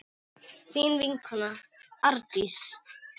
Þín vinkona Arndís.